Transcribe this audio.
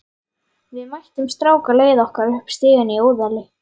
Við mættum strák á leið okkar upp stigann í Óðali.